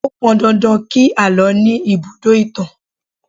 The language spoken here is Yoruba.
Ó pọn dandan kí àlọ́ ní ibùdó ìtàn